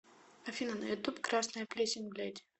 афина на ютуб красная плесень блядь